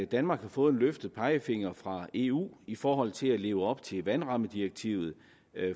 danmark har fået en løftet pegefinger fra eu i forhold til at leve op til vandrammedirektivet